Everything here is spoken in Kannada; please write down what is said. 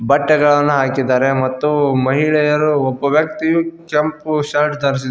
ಬಟ್ಟೆಗಳನ್ನು ಹಾಕಿದ್ದಾರೆ ಮತ್ತು ಮಹಿಳೆಯರು ಒಬ್ಬ ವ್ಯಕ್ತಿಯು ಕೆಂಪು ಶರ್ಟ್ ಧರಿಸಿದ್ದಾ--